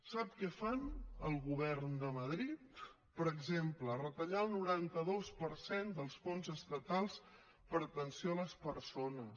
sap què fa el govern de madrid per exemple retallar el noranta dos per cent dels fons estatals per atenció a les persones